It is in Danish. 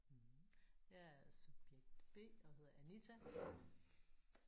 Mh jeg er subjekt B og hedder Anita